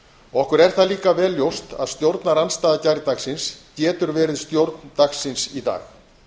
okkur er það líka vel ljóst að stjórnarandstaða gærdagsins getur verið stjórn dagsins í dag